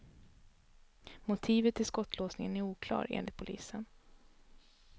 Motivet till skottlossningen är oklar, enligt polisen.